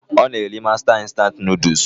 Ọ na-eri mástá instant Nụ́dúls s